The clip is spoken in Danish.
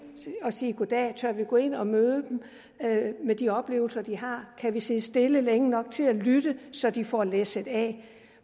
og sige goddag tør vi gå ind og møde dem med de oplevelser de har kan vi sidde stille længe nok til at lytte så de får læsset af